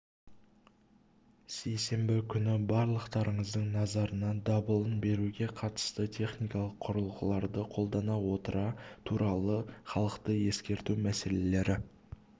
сейсенбі күні барлықтарыңыздың назарына дабылын беруге қатысты техникалық құралдарды қолдана отыра туралы халықты ескерту мәселелері